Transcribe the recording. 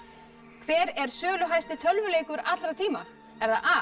hver er söluhæsti tölvuleikur allra tíma er það a